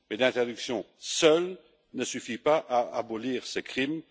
Mais l'interdiction seule ne suffit pas à abolir ces crimes.